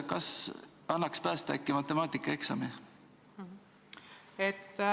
Kas annaks äkki päästa matemaatikaeksami?